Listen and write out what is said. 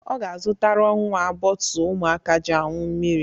Ọ ga-azụtara nnwa bọọtụ ụmụaka ji añu mmiri.